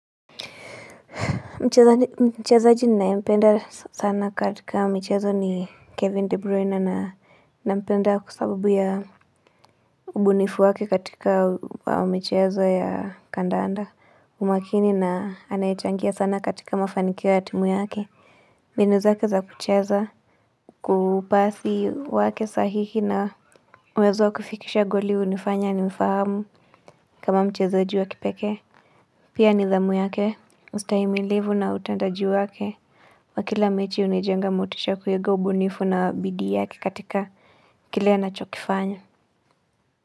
Mchezaji ninayempenda sana katika mchezo ni Kevin De Bruyne na nampenda kwa sababu ya ubunifu wake katika michezo ya kandanda umakini na anayechangia sana katika mafanikio ya timu yake mbinu zake za kucheza kupasi wake sahii na uwezo kufikisha goli hunifanya nimfahamu kama mchezaji wa kipekee Pia nidhamu yake ustahimilivu na utendaji wake wa kila mechi hunijenga motisha kuiga ubunifu na bidii yake katika kile anachokifanya.